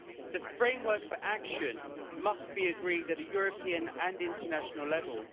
The framework for action must be agreed at a European and international level.